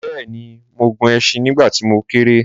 bẹ́ẹ̀ni, mo gun ẹṣin nígbà tí mo kéré